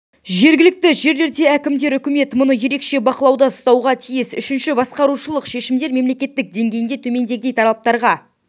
жергілікті жерлерде әкімдер үкімет мұны ерекше бақылауда ұстауға тиіс үшінші басқарушылық шешімдер мемлекет деңгейінде төмендегідей талаптарға